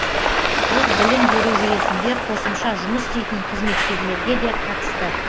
бұл білім беру жүйесінде қосымша жұмыс істейтін қызметкерлерге де қатысты